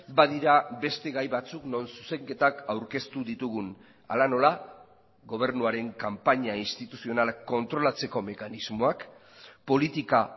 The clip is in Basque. badira beste gai batzuk non zuzenketak aurkeztu ditugun hala nola gobernuaren kanpaina instituzionala kontrolatzeko mekanismoak politika